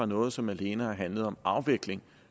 noget som alene har handlet om afvikling